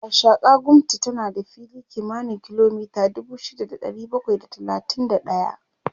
Gashaka-gumti tana da fili kimanin kilomita dubu shida da ɗari bakwai da talatin da ɗaya